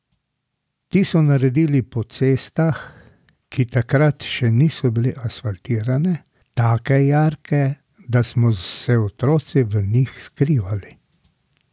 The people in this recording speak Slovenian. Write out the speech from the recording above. Ti so naredili po cestah, ki takrat še niso bile asfaltirane, take jarke, da smo se otroci v njih skrivali.